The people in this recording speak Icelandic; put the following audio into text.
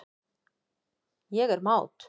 Ég er mát.